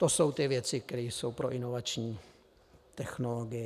To jsou ty věci, které jsou pro inovační technologii.